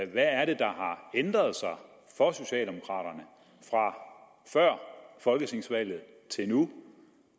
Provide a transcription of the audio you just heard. hvad er det der har ændret sig for socialdemokraterne fra før folketingsvalget og til nu